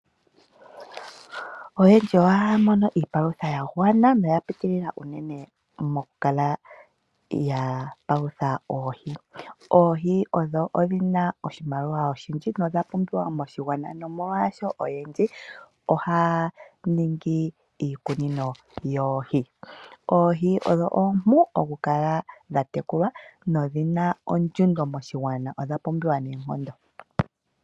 Oyendji ohaya mono iipalutha ya gwana noya pitilila unene moku kala ya palutha oohi. Oohi odho dhi na oshimaliwa oshindji nodha pumbiwa moshigwana nomolwaasho oyendji ohaya ningi iikuno yoohi. Oohi odho ompu oku kala dha tekulwa nodhi na ondjundo moshigwana. Odha pumbiwa neenkondo.